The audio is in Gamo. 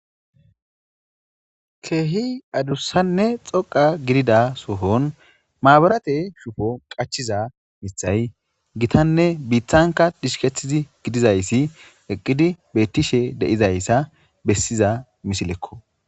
Keehi adussanne xoqa gidida sohon maabarate shufo qachiza mithay gitanne biiththanka dishkethtizi gidizayssi eqqidi bettishe deizayssa bessiza misilekko